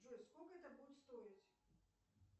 джой сколько это будет стоить